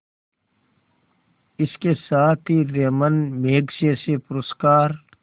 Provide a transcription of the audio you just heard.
इसके साथ ही रैमन मैग्सेसे पुरस्कार